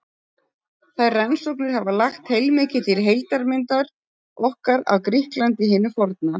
Þær rannsóknir hafa lagt heilmikið til heildarmyndar okkar af Grikklandi hinu forna.